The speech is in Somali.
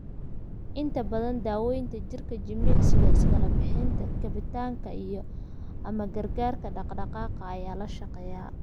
Inta badan, daawaynta jidhka, jimicsiga iskala bixinta, kabitaanka, iyo/ama gargaarka dhaqdhaqaaqa ayaa la shaqeeyaa.